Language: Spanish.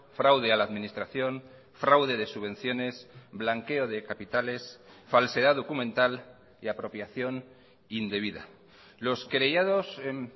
fraude a la administración fraude de subvenciones blanqueo de capitales falsedad documental y apropiación indebida los querellados en